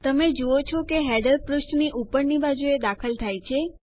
તમે જુઓ છો કે હેડર પુષ્ઠની ઉપરની બાજુએ દાખલ થાય છે